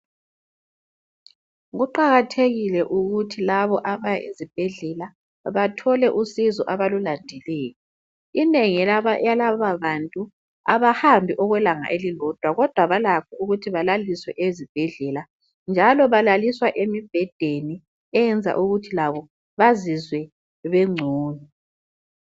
kuqakathekike ukuthi labo abaya esibhedlela bathole usizo abalulandileyo. Inengi lalabantu abahambi ilanga elilodwa kodwa balakho ukuthi balaliswe ezibhedlela njalo balaliswa emibhedeni eyenza ukuthi bazizwe bengcono.